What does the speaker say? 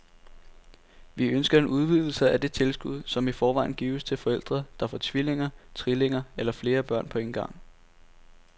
Vi ønsker en udvidelse af det tilskud, som i forvejen gives til forældre, der får tvillinger, trillinger eller flere børn på en gang.